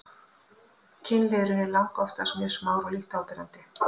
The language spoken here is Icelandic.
kynliðurinn er langoftast mjög smár og lítt áberandi